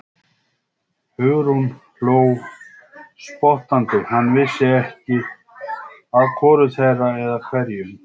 Hugrún hló spottandi, hann vissi ekki að hvoru þeirra, eða hverju.